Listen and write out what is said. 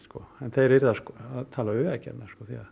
þeir yrðu að tala við Vegagerðina